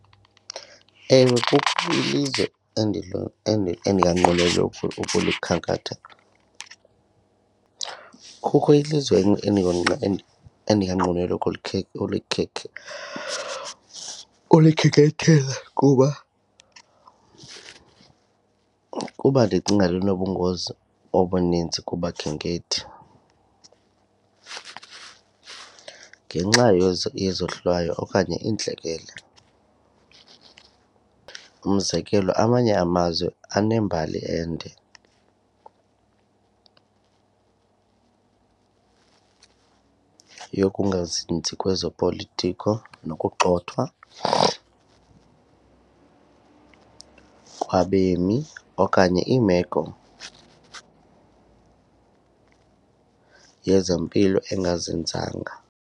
Ewe kukho ilizwe endinganqweneli ukulikhankathela, kukho ilizwe ulikhenkethela kuba ukuba ndicinga linobungozi obuninzi kubakhenkethi ngenxa yezohlwayo okanye iintlekele. Umzekelo amanye amazwe abanembali yokungazinzi kwezopolitiko nokugxothwa kwabemi okanye iimeko yezempilo engazinzanga.